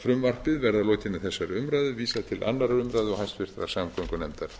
frumvarpinu verði að lokinni þessari umræðu vísað til annarrar umræðu og háttvirtrar samgöngunefndar